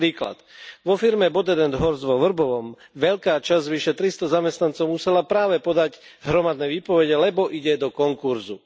Príklad vo firme BodetHorst vo Vrbovom veľká časť z vyše tristo zamestnancov musela práve podať hromadné výpovede, lebo ide do konkurzu.